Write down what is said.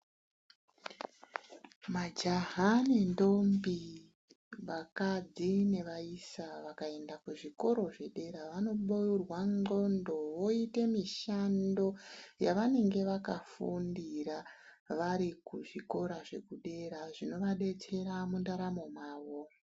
Majaha nendombi vakadzi nevaisa vakaenda kuzvikora zvepadera vanobeurwa ndxondo veite mishando yavanenge vakafundira vari kuzvikora zvepadera zvinovadetsera mundaramo mwavo.